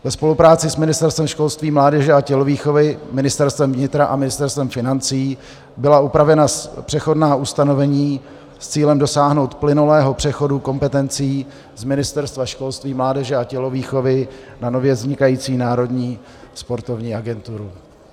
Ve spolupráci s Ministerstvem školství, mládeže a tělovýchovy, Ministerstvem vnitra a Ministerstvem financí byla upravena přechodná ustanovení s cílem dosáhnout plynulého přechodu kompetencí z Ministerstva školství, mládeže a tělovýchovy na nově vznikající Národní sportovní agenturu.